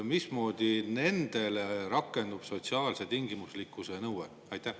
Mismoodi nende suhtes rakendub sotsiaalse tingimuslikkuse nõue?